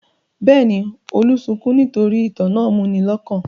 Bẹ́ẹ̀ ni, Olú sunkún nítorí ìtàn náà múni lọ́kàn.